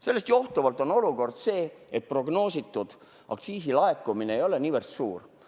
Sellest johtuvalt on olukord see, et aktsiisilaekumine ei ole niivõrd suur,.